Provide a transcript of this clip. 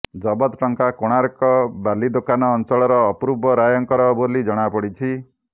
ଜବତ ଟଙ୍କା କୋଣାର୍କ ବାଲିଦୋକାନ ଅଞ୍ଚଳର ଅପୂର୍ବ ରାୟଙ୍କର ବୋଲି ଜଣାପଡ଼ିଛି